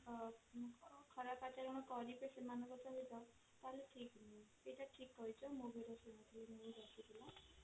ଅ ଖରାପ ଆଚରଣ କରିବେ ସେମାନଙ୍କ ସହିତ ତାହେଲେ ଠିକ ନୁହଁ ଏଇଟା ଠିକ କହିଛ ମୁଁ ବି